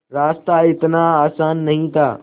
रास्ता इतना आसान नहीं था